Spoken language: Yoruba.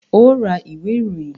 Óò ra ìwé ìròyìn!